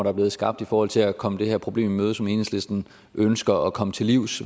er blevet skabt i forhold til at komme det her problem i møde som enhedslisten ønsker at komme til livs